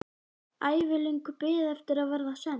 Ævilöng bið eftir að verða send.